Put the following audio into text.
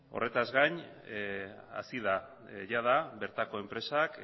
horretaz gain hasi da jada bertako enpresak